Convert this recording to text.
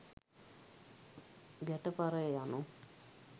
ගැට පරය යනු